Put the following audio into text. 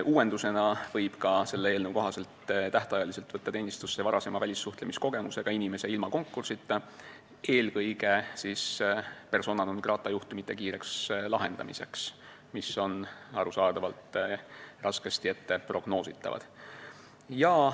Uuendusena võib selle eelnõu kohaselt tähtajaliselt võtta teenistusse varasema välissuhtlemiskogemusega inimese ilma konkursita, eelkõige selleks, et lahendada kiiresti persona non grata juhtumeid, mis arusaadavalt on raskesti prognoositavad.